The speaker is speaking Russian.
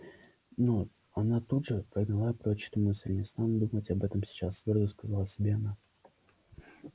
но она тут же прогнала прочь эту мысль не стану думать об этом сейчас твёрдо сказала себе она